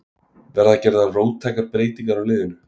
Verða gerðar róttækar breytingar á liðinu?